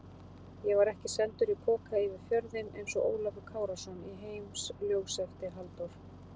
Ég var ekki sendur í poka yfir fjörðinn einsog Ólafur Kárason í Heimsljósi eftir Halldór